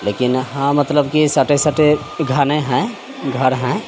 लेकिन हां मतलब की सटे-सटे घने हैं घर हैं।